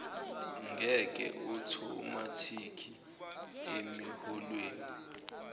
nge othomathikhi emiholweni